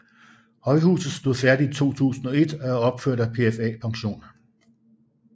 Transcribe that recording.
Højhuset stod færdigt i 2001 og er opført af PFA Pension